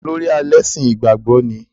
Olórí ẹlẹ́sìn ìgbàgbọ́ ni?